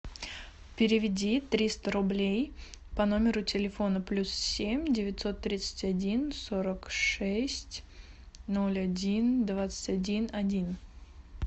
переведи триста рублей по номеру телефона плюс семь девятьсот тридцать один сорок шесть ноль один двадцать один один